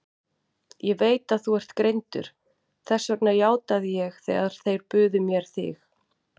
Ég veit að þú ert greindur, þess vegna játaði ég þegar þeir buðu mér þig.